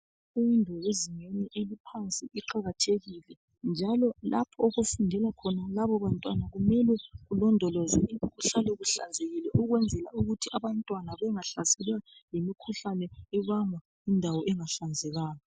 Imfundo yezingeni eliphansi iqakathekile., njalo lapho okufundela labobantwana, kumele kulondolozwe. Ihlale ihlanzekile. Ukuze abantwana bengahlaselwa yimikhuhkane ebangwa yindawo engahlanzekanga,